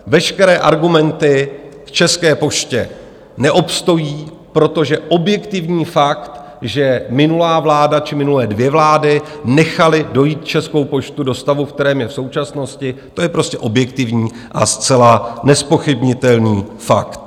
Veškeré argumenty k České poště neobstojí, protože objektivní fakt, že minulá vláda či minulé dvě vlády nechaly dojít Českou poštu do stavu, v kterém je v současnosti, to je prostě objektivní a zcela nezpochybnitelný fakt.